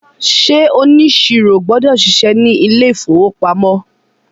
ṣe oniṣiro gbọdọ ṣiṣẹ ní ilè ìfowópamọ́?